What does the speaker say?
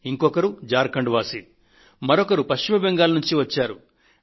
ఇంకా ఝార్ ఖండ్ పశ్చిమ బెంగాల్ ల నుండి వచ్చిన వారు కూడా ఉన్నారు